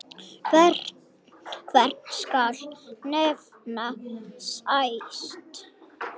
Hvern skal nefna næst?